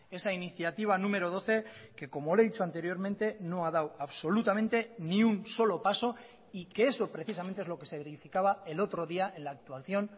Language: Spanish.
esa iniciativa número doce que como le he dicho anteriormente no ha dado absolutamente ni un solo paso y que eso precisamente es lo que se verificaba el otro día en la actuación